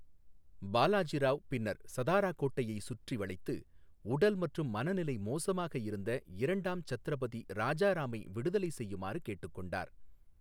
பாலாஜி ராவ் பின்னர் சதாரா கோட்டையை சுற்றி வளைத்து, உடல் மற்றும் மன நிலை மோசமாக இருந்த இரண்டாம் சத்ரபதி ராஜாராமை விடுதலை செய்யுமாறு கேட்டுக்கொண்டார்.